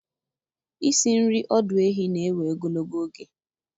Isi nri ọdụ ehi na-ewe ogologo oge.